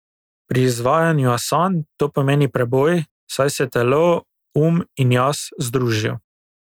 Pri izvajanju asan to pomeni preboj, saj se telo, um in jaz združijo.